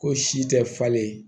Ko si tɛ falen